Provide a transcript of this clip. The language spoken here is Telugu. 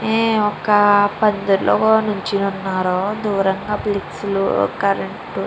ఆహ్ ఒక పందిరిలో నుంచొని ఉన్నారు దూరంగా ఫ్లెక్సీ కరెంటు --